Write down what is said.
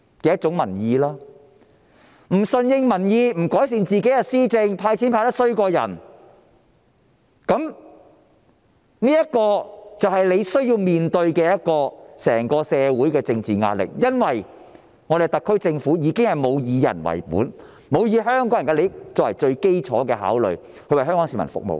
政府不順應民意、不改善施政、"派錢"派得比人差，政府便須面對來自整個社會的政治壓力，因為特區政府已經沒有"以人為本"，沒有以香港人的利益作為最基礎的考慮，為香港市民服務。